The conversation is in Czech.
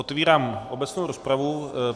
Otvírám obecnou rozpravu.